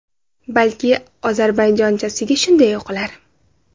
Balki ozarbayjonchasiga shunday o‘qilar.